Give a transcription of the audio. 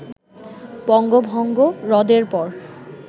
বঙ্গভঙ্গ রদের পর